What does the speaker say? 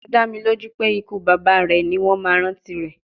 Ó dá mi lójú pé ikú bàbá rẹ̀ ni wọ́n máa rántí rẹ̀